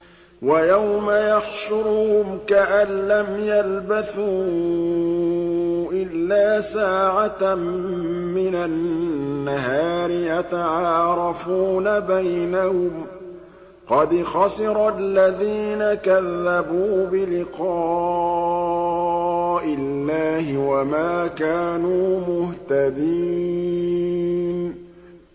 وَيَوْمَ يَحْشُرُهُمْ كَأَن لَّمْ يَلْبَثُوا إِلَّا سَاعَةً مِّنَ النَّهَارِ يَتَعَارَفُونَ بَيْنَهُمْ ۚ قَدْ خَسِرَ الَّذِينَ كَذَّبُوا بِلِقَاءِ اللَّهِ وَمَا كَانُوا مُهْتَدِينَ